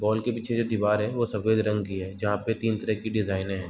Ball के पीछे दीवार है जो सफ़ेद रंग की है जहाँ पे तीन तरह के डिज़ाइन है |.